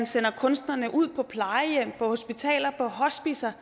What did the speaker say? sende kunstnerne ud på plejehjem hospitaler og hospicer